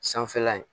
Sanfɛla ye